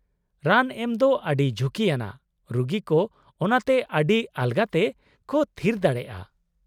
-ᱨᱟᱱ ᱮᱢ ᱫᱚ ᱟᱹᱰᱤ ᱡᱷᱩᱠᱤ ᱟᱱᱟᱜ, ᱨᱩᱜᱤ ᱠᱚ ᱚᱱᱟᱛᱮ ᱟᱹᱰᱤ ᱟᱞᱜᱟᱛᱮ ᱠᱚ ᱛᱷᱤᱨ ᱫᱟᱲᱮᱭᱟᱜᱼᱟ ᱾